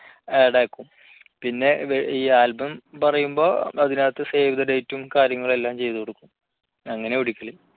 add ആക്കും പിന്നെ ഈ album പറയുമ്പോൾ അതിനകത്ത് save the date കാര്യങ്ങളും എല്ലാം ചെയ്തു കൊടുക്കും അങ്ങനെ പിടിക്കല്